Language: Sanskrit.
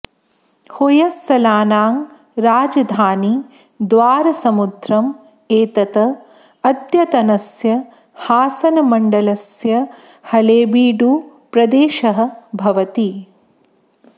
होय्सळानां राजधानी द्वारसमुद्रम् एतत् अद्यतनस्य हासनमण्डलस्य हळेबीडुप्रदेशः भवति